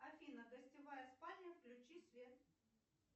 афина гостевая спальня включи свет